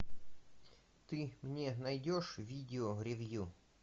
ты мне найдешь видео ревью